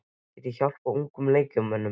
Get ég hjálpað ungum leikmönnum?